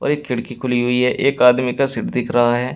एक खिड़की खुली हुई है एक आदमी का सीट दिख रहा है।